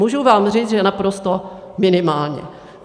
Můžu vám říct, že naprosto minimálně.